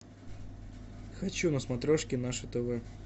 хочу на смотрешке наше тв